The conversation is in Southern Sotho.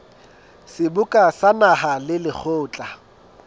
seboka sa naha le lekgotla